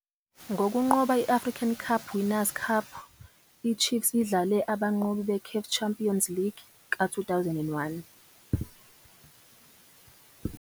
Ngokunqoba i-African Cup Winners' Cup, i-Chiefs idlale abanqobi be-CAF Champions League ka-2001